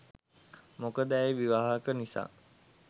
මොකද ඇය විවාහක නිසා.